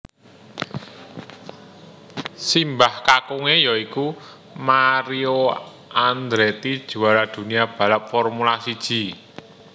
Simabh kakunge ya iku Mario Andretti juara dunia balap Formula siji